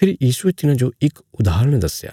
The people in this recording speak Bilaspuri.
फेरी यीशुये तिन्हाजो इक उदाहरण दस्या